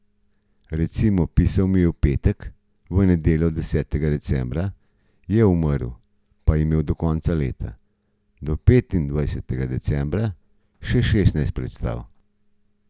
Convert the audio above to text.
Recimo, pisal mi je v petek, v nedeljo, desetega decembra, je umrl, pa je imel do konca leta, do petindvajsetega decembra, še šestnajst predstav.